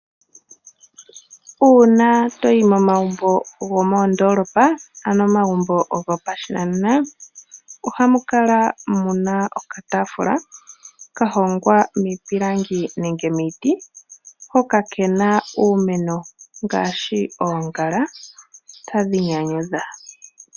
Uuna toyi momagumbo gomondolopa ano momagumbo gopashinanena ohamu kala muna okatafula ka hongwa miipilangi nenge miiti hoka kena uumeno ngashi oongala tadhi nyanyudha.